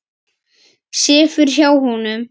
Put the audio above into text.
Sefur hjá honum.